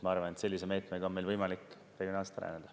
Ma arvan, et sellise meetmega on meil võimalik regionaalselt rajada.